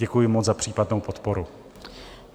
Děkuji moc za případnou podporu.